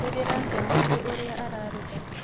Nĩndĩrakenio nĩ ũrĩa araruga